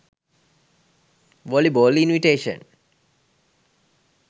volleyball invitation